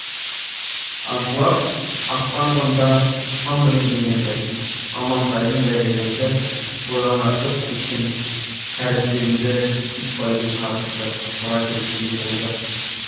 аңшылар аттанғанда таң білінген еді амантайдың дәрежесі бұдан артып кеткен тәрізденді итбайдың қарғысы тура келгендей болды